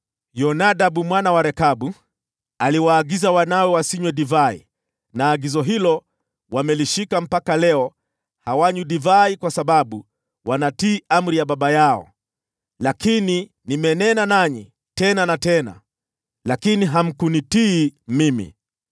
‘Yonadabu mwana wa Rekabu aliwaagiza wanawe wasinywe divai, na agizo hilo wamelishika mpaka leo hawanywi divai, kwa sababu wanatii amri ya baba yao. Lakini nimenena nanyi tena na tena, lakini hamkunitii mimi.